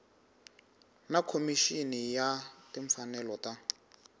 na khomixini ya timfanelo ta